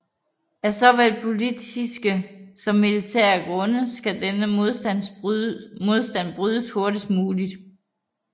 Af såvel politiske som militære grunde skal denne modstand brydes hurtigst muligt